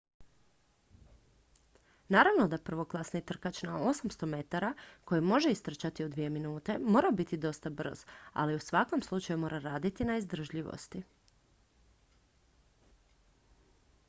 naravno da prvoklasni trkač na 800 m koji može istrčati u dvije minute mora biti dosta brz ali u svakom slučaju mora raditi na izdržljivosti